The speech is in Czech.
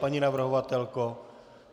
Paní navrhovatelko?